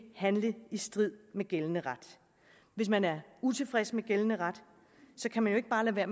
handle i strid med gældende ret hvis man er utilfreds med gældende ret kan man jo ikke bare lade